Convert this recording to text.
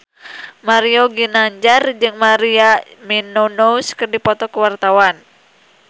Mario Ginanjar jeung Maria Menounos keur dipoto ku wartawan